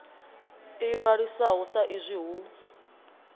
ḓi ṅwalisaho sa izwi hu